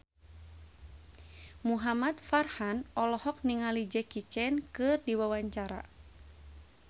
Muhamad Farhan olohok ningali Jackie Chan keur diwawancara